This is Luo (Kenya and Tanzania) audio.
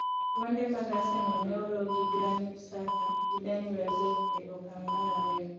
gonde mag Arsenal ne olo gi Granit Xhaka gi Danny Welbeck e okang' mar ariyo.